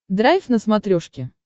драйв на смотрешке